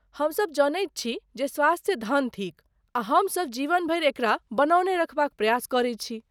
हम सभ जनैत छी जे स्वास्थ्य धन थिक आ हम सभ जीवन भरि एकरा बनौने रखबाक प्रयास करैत छी।